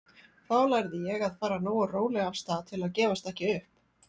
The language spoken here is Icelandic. Þá lærði ég að fara nógu rólega af stað til að gefast ekki upp.